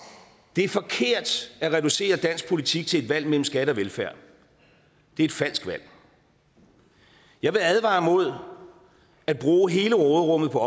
det er forkert at reducere dansk politik til et valg mellem skat og velfærd det er et falsk valg jeg vil advare mod at bruge hele råderummet på